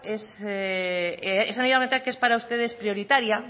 que es para ustedes prioritaria